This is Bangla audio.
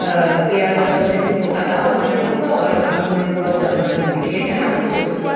আহ পেয়াজ আদা রসুন গোটা দাও মাটন ঢুকাও আর আগুনে পোড়াও চম্পারন মিট । এছাড়া আমি কিছু বলতে পার--